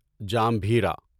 جامبھیرا